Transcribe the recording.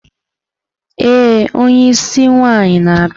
Ee onye isi nwaanyi na-abịa.